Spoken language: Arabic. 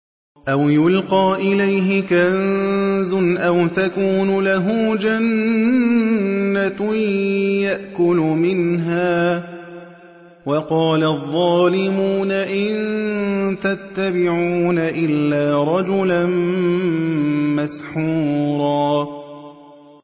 أَوْ يُلْقَىٰ إِلَيْهِ كَنزٌ أَوْ تَكُونُ لَهُ جَنَّةٌ يَأْكُلُ مِنْهَا ۚ وَقَالَ الظَّالِمُونَ إِن تَتَّبِعُونَ إِلَّا رَجُلًا مَّسْحُورًا